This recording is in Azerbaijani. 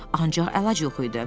Ancaq əlac yox idi.